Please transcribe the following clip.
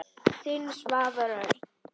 Þinn, Svavar Örn.